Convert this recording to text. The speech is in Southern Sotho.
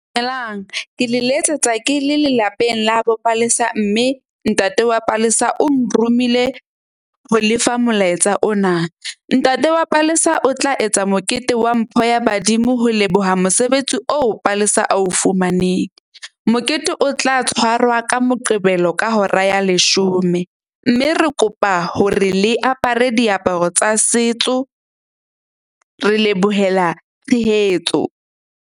Dumelang ke le letsetsa, ke le lelapeng la bo Palesa. Mme ntate wa Palesa o nromile ho lefa molaetsa ona. Ntate wa Palesa o tla etsa mokete wa mpho ya badimo. Ho leboha mosebetsi oo Palesa a o fumaneng. Mokete o tla tshwarwa ka Moqebelo ka hora ya leshome. Mme re kopa hore le apare diaparo tsa setso. Re lebohela tshehetso.